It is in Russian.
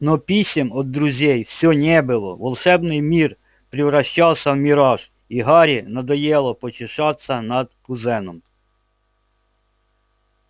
но писем от друзей всё не было волшебный мир превращался в мираж и гарри надоело потешаться над кузеном